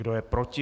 Kdo je proti?